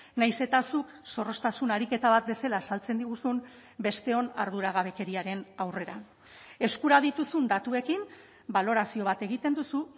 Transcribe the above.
nahiz eta zuk zorroztasun ariketa bat bezala azaltzen diguzun besteon arduragabekeriaren aurrera eskura dituzun datuekin balorazio bat egiten duzu